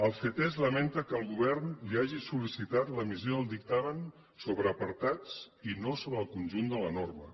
el ctesc lamenta que el govern li hagi sol·licitat l’emissió del dictamen sobre apartats i no sobre el conjunt de la norma